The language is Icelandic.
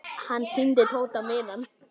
Hann sýndi Tóta miðann.